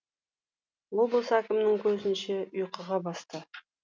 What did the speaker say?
облыс әкімнің көзінше ұйқыға басты